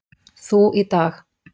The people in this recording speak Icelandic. Þú í dag.